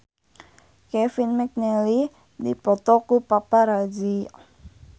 Kevin McNally dipoto ku paparazi